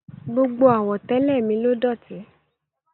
Gbogbo àwọ̀tẹ́lẹ̀ mi ló dọ̀tí.